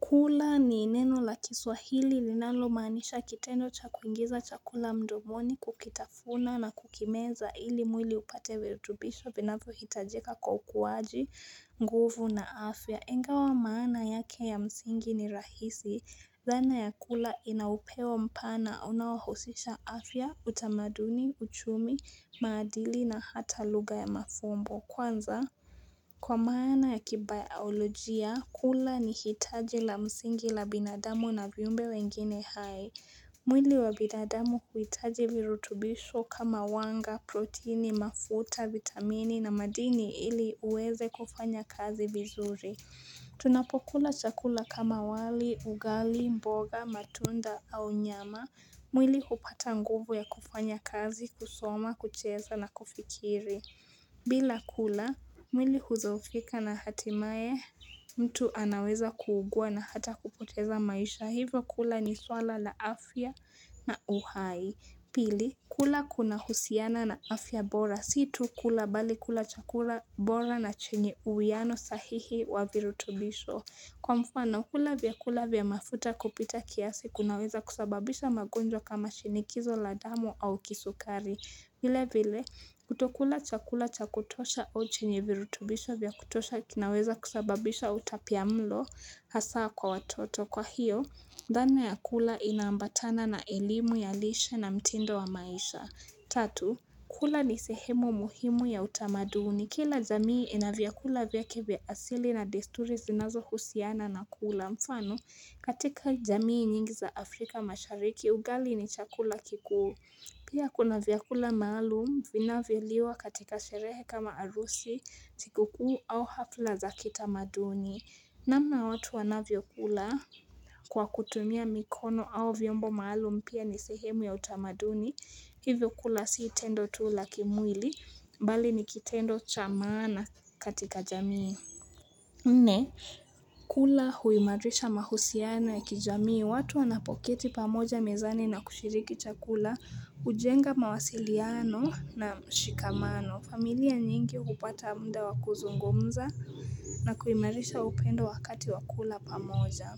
Kula ni ineno la kiswahili linalomanisha kitendo cha kuingiza chakula mdomoni kukitafuna na kukimeza ili mwili upate virutubisho vinavyohitajika kwa ukuwaji nguvu na afya. Ingawa maana yake ya msingi ni rahisi. Zana ya kula inaupewa mpana. Unaosisha afya, utamaduni, uchumi, maadili na hata lugha ya mafumbo. Kwanza? Kwa maana ya kibaolojia, kula ni hitaji la msingi la binadamu na viyumbe wengine hai. Mwili wa binadamu kuhitaji virutubisho kama wanga, proteini, mafuta, vitamini na madini ili uweze kufanya kazi bizuri. Tunapokula chakula kama wali, ugali, mboga, matunda au nyama. Mwili hupata nguvu ya kufanya kazi, kusoma, kucheza na kufikiri. Bila kula mwili hudhoofika na hatimae mtu anaweza kuugua na hata kupoteza maisha hivyo kula ni swala la afya na uhai bili kula kunahusiana na afya bora si tu kula bali kula chakula bora na chenye uwiano sahihi wa virutubisho Kwa mfano kula vyakula vya mafuta kupita kiasi kunaweza kusababisha magonjwa kama shinikizo la damo au kisukari vile vile, kutokula chakula cha kutosha au chenye virutubisha vya kutosha kinaweza kusababisha utapia mlo hasa kwa watoto. Kwa hiyo, dhana ya kula inaambatana na elimu ya lishe na mtindo wa maisha. Tatu, kula ni sehemu muhimu ya utamaduni. Kila jamii ina vyakula vyake vya asili na desturi zinazohusiana na kula. Mfano, katika jamii nyingi za Afrika mashariki, ugali ni chakula kiku. Pia kuna vyakula maalum, vinavyoliwa katika sherehe kama arusi, sikuku, au hafla za kita maduni. Namna watu wanavyokula kwa kutumia mikono au vyombo maalum pia ni sehemu ya utamaduni. Hivyo kula si tendo tu la kimwili, bali nikitendo cha maana katika jamii. Nne kula huimarisha mahusiano ya kijamii watu wanapokiti pamoja mezani na kushiriki chakula Ujenga mawasiliano na mshikamano familia nyingi hupata mda wa kuzungumza na kuimarisha upendo wakati wa kula pamoja